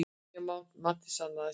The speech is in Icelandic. Nýja matið sannaði sig.